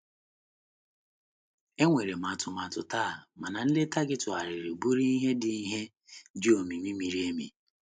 Enwere m atụmatụ taa, mana nleta gị tụgharịrị bụrụ ihe dị ihe dị omimi miri emi.